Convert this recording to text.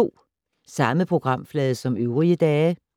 Samme programflade som øvrige dage